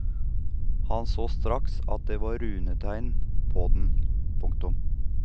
Han såg straks at det var runeteikn på han. punktum